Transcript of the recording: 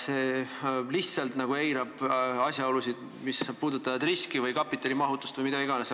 See lihtsalt eirab asjaolusid, mis puudutavad riski või kapitalimahutust või mida iganes.